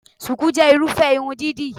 Shùkú jẹ́ Irúfẹ́ irun dídì